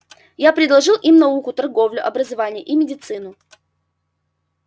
я предложил им науку торговлю образование и медицину